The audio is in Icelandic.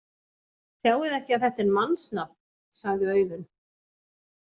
Sjáiði ekki að þetta er mannsnafn, sagði Auðunn.